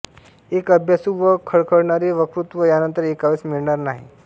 एक अभ्यासू व खळखळणारे वक्तृत्व यानंतर ऐकावयास मिळणार नाही